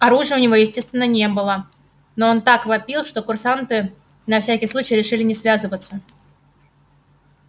оружия у него естественно не было но он так вопил что курсанты на всякий случай решили не связываться